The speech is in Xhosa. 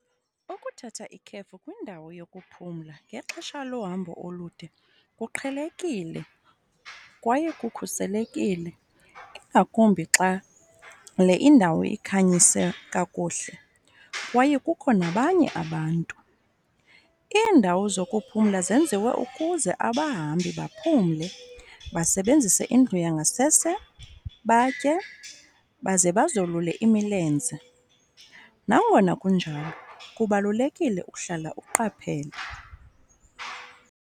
Ukuthatha ikhefu kwindawo yokuphumla ngexesha lohambo olude kuqhelekile kwaye kukhuselekile, ingakumbi xa le indawo ikhanyise kakuhle kwaye kukho nabanye abantu. Iindawo zokuphumla zenziwe ukuze abahambi baphumle, basebenzise indlu yangasese, batye baze bazolule imilenze. Nangona kunjalo kubalulekile ukuhlala uqaphele.